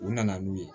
U nana n'u ye